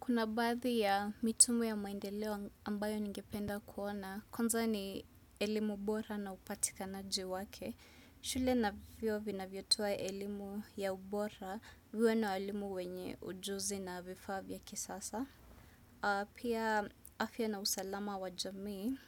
Kuna badhi ya mitumu ya maendeleo ambayo ningependa kuona, kwanza ni elimu bora na upatikanaji wake. Shule na vyuo vina vyo tuwa elimu ya ubora, vio na alimu wenye ujuzi na vifavya kisasa. Pia afya na usalama wa jamii,